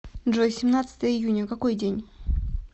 джой семнадцатое июня какой день